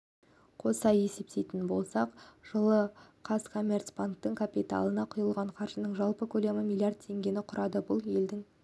қоса есептейтін болсақ жылы қазкоммерцбанктің капиталына құйылған қаржының жалпы көлемі миллиард теңгені құрады бұл елдің